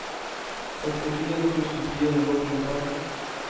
sekstifire tusen fire hundre og tjuefem